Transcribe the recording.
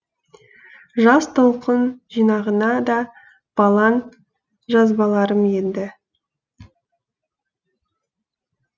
жас толқын жинағына да балаң жазбаларым енді